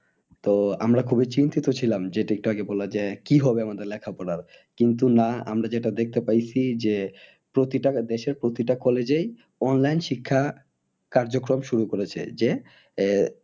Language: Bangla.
তো আমরা খুবই চিন্তিত ছিলাম যেটা একটু আগে বললে যে কি হবে আমাদের লেখাপড়ার কিন্তু না আমরা যেটা দেখতে পাইছি যে প্রতিটা দেশেই প্রতিটা college এই online শিক্ষা কার্যক্রম শুরু করেছে যে আহ